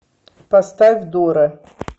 поставь дора